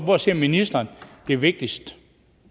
hvor ser ministeren det vigtigste